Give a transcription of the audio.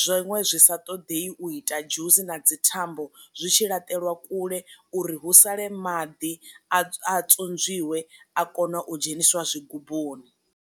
zwiṅwe zwi sa ṱoḓei u ita dzhusi na dzi thambo zwi tshi laṱelwa kule uri hu sale maḓi a tswozwiwe a kone u dzheniswa zwi gubuni.